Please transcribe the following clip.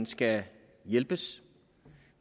skal hjælpes